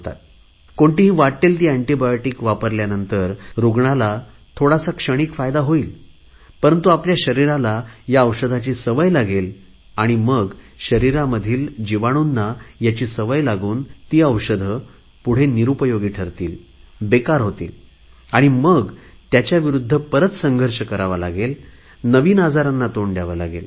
कोणतीही वाट्टेल ती एन्टीबायोटिक वापरल्यावर रुग्णाला थोडा क्षणिक फायदा होईल परंतु आपल्या शरीराला ह्या औषधाची सवय लागेल आणि मग शरीरामधील जीवाणूंना ह्याची सवय लागून ती औषधे पुढे निरुपयोगी ठरतील बेकार होतील आणि मग त्याच्या विरुद्ध परत संघर्ष करावा लागेल नवीन आजारांना तोंड द्यावे लागेल